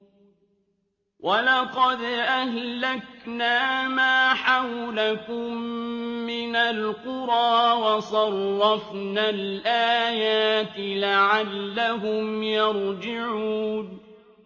وَلَقَدْ أَهْلَكْنَا مَا حَوْلَكُم مِّنَ الْقُرَىٰ وَصَرَّفْنَا الْآيَاتِ لَعَلَّهُمْ يَرْجِعُونَ